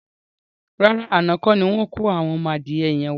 Rárá, àná kọ́ni wọn kò àwọn ọmọ adìyẹ yẹn wá.